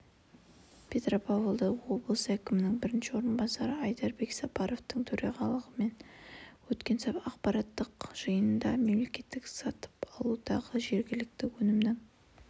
петропавлда облыс әкімінің бірінші орынбасары айдарбек сапаровтың төрағалығымен өткен аппараттық жиында мемлекеттік сатып алудағы жергілікті өнімнің